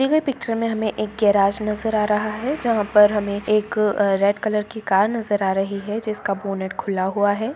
दिए गए पिक्चर मे हमे एक गराज नजर आ रहा है जहा पर हमे एक रेड कलर की कार नजर आ रही है जिसका बोनट खुला हुआ है।